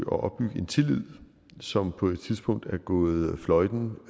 opbygge en tillid som på et tidspunkt er gået fløjten